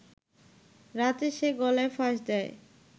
রাতে সে গলায় ফাঁস দেয়